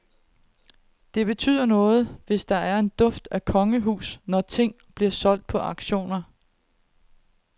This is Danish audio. Det betyder noget, hvis der er en duft af kongehus, når ting bliver solgt på auktioner.